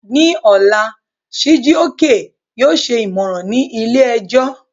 Ní ọ̀la, Chijioke yóò ṣe ìmọ̀ràn ní ilé-ẹjọ́